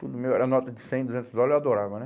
Tudo meu era nota de cem, duzentos dólares, eu adorava, né?